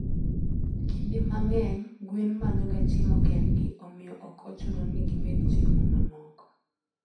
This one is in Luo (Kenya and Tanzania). Kinde mang'eny, gwen manyoga chiemo kendgi, omiyo ok ochuno ni gimed chiemo mamoko.